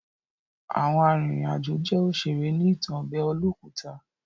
Àwọn arìnrìn àjò jẹ́ òṣèré ní ìtàn ọbẹ̀ olókùta.